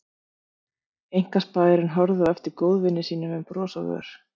Einkaspæjarinn horfði á eftir góðvini sínum með bros á vör.